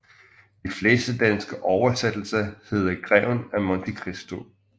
De fleste danske oversættelser hedder Greven af Monte Christo